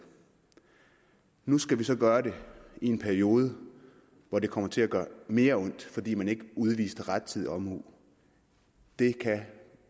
nu skal vi så gøre det i en periode hvor det kommer til at gøre mere ondt fordi man ikke udviste rettidig omhu det kan